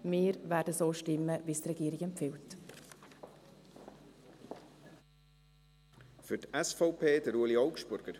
Wir werden so stimmen, wie die Regierung empfiehlt.